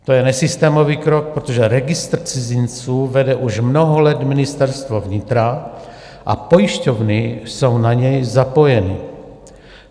To je nesystémový krok, protože registr cizinců vede už mnoho let Ministerstvo vnitra a pojišťovny jsou na něj napojeny.